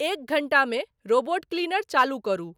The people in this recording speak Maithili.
एक घंटा मे रोबोट क्लीनर चालू करू ।